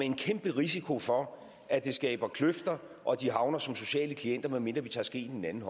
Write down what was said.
en kæmpe risiko for at det skaber kløfter og at de havner som sociale klienter medmindre vi tager skeen i den anden